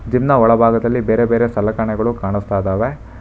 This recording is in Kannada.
ಜಿಮ್ ನ ಒಳಭಾಗದಲ್ಲಿ ಬೇರೆ ಬೇರೆ ಸಲಕರಣೆಗಳು ಕಾಣುಸ್ತಾ ಇದಾವೆ.